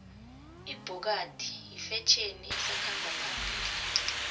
ibhokadi yifetjheni esakhamba phambili